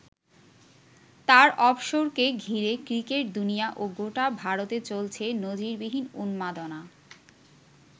তাঁর অবসরকে ঘিরে ক্রিকেট দুনিয়া ও গোটা ভারতে চলছে নজিরবিহীন উন্মাদনা।